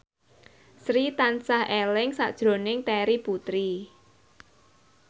Sri tansah eling sakjroning Terry Putri